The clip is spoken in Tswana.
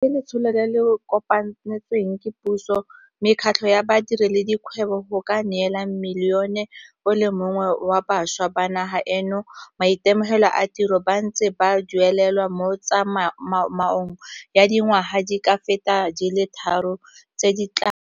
YES ke letsholo le le ko panetsweng ke puso, mekgatlho ya badiri le di kgwebo go ka neela milione o le mongwe wa bašwa ba naga eno maitemogelo a tiro ba ntse ba duelelwa mo tsa maong ya dingwaga di ka feta di le tharo tse di tlang.